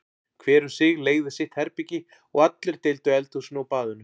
Hver um sig leigði sitt herbergi og allir deildu eldhúsinu og baðinu.